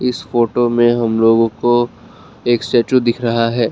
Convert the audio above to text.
इस फोटो में हम लोग को एक स्टैचू दिख रहा है।